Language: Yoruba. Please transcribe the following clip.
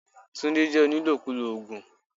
Tunde jẹ́ onílòkulò oògùn.